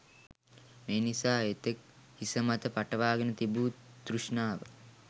මේ නිසා එතෙක් හිසමත පටවාගෙන තිබූ තෘෂ්ණාව